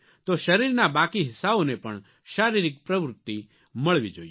તો શરીરના બાકી હિસ્સાઓને પણ શારીરિક પ્રવૃત્તિ મળવી જોઇએ